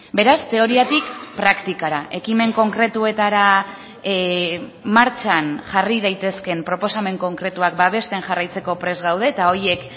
beraz teoriatik praktikara ekimen konkretuetara martxan jarri daitezkeen proposamen konkretuak babesten jarraitzeko prest gaude eta horiek